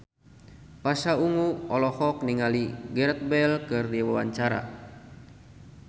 Pasha Ungu olohok ningali Gareth Bale keur diwawancara